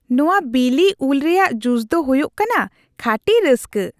ᱱᱚᱶᱟ ᱵᱤᱞᱤ ᱩᱞ ᱨᱮᱭᱟᱜ ᱡᱩᱥ ᱫᱚ ᱦᱩᱭᱩᱜ ᱠᱟᱱᱟ ᱠᱷᱟᱹᱴᱤ ᱨᱟᱹᱥᱠᱟᱹ ᱾